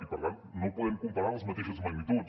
i per tant no podem comparar les mateixes magnituds